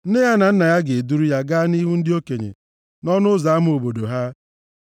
Nne ya na nna ya ga-eduru ya gaa nʼihu ndị okenye, nʼọnụ ụzọ ama obodo ha.